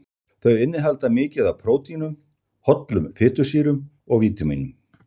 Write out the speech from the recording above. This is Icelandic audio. Þau innihalda mikið af prótínum, hollum fitusýrum og vítamínum.